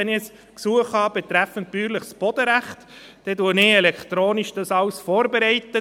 Wenn ich ein Gesuch betreffend bäuerliches Bodenrecht habe, bereite ich dies alles elektronisch vor.